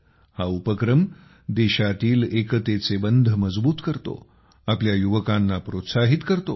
हा उपक्रम देशातील एकतेचे बंध मजबूत करतो आपल्या युवकांना प्रोत्साहित करतो